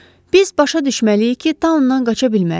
Biz başa düşməliyik ki, taondan qaça bilmərik.